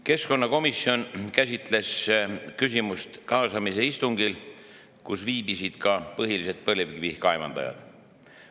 Keskkonnakomisjon käsitles seda küsimust kaasamise istungil, kus viibisid põhilised põlevkivi kaevandajad.